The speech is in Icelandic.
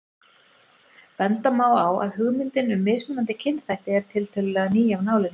Benda má á að hugmyndin um mismunandi kynþætti er tiltölulega ný af nálinni.